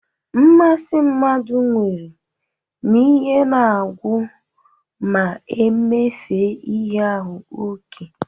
Mmasi mmadu nwere n'ihe na-agwu ma e mefee ihe ahu oke.